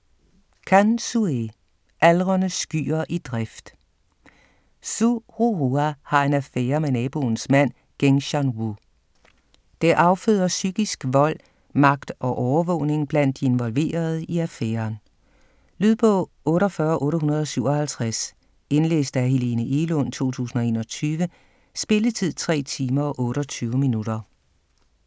Can, Xue: Aldrende skyer i drift Xu Ruhua har en affærre med naboens mand Geng Shanwue. Det afføder psykisk vold, magt og overvågning blandt de involverede i affæren. Lydbog 48857 Indlæst af Helene Egelund, 2021. Spilletid: 3 timer, 28 minutter.